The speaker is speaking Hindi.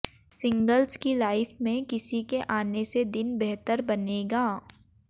सिंग्लस की लाइफ में किसी के आने से दिन बेहतर बनेगा